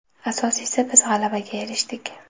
Asosiysi biz g‘alabaga erishdik.